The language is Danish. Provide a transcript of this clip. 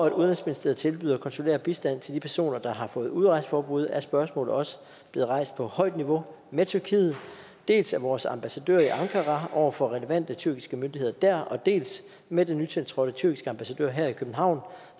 at udenrigsministeriet tilbyder konsulær bistand til de personer der har fået udrejseforbud er spørgsmålet også blevet rejst på højt niveau med tyrkiet dels af vores ambassadør i ankara over for relevante tyrkiske myndigheder dér dels med den nytiltrådte tyrkiske ambassadør her i københavn